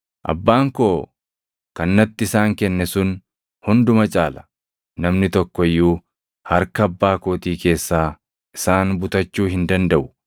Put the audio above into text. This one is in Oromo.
Abbaan koo kan natti isaan kenne sun hunduma caala; namni tokko iyyuu harka Abbaa kootii keessaa isaan butachuu hin dandaʼu.